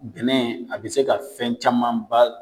Bɛnɛ a bɛ se ka fɛn camanba